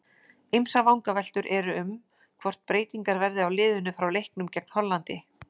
Ýmsar vangaveltur eru um hvort breytingar verði á liðinu frá leiknum gegn Hollandi.